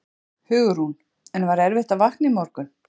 Hugrún: En var erfitt að vakna í morgun?